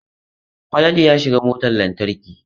Falalu ya shiga motar lantarki.